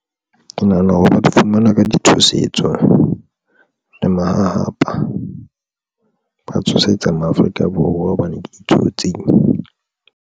Ke nahana hore ba di fumana ka di tshosetso le mahahapa ba tshosetsa maAfrika Borwa hobane ke ditsotsing.